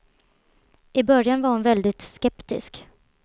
I början var hon väldigt skeptisk.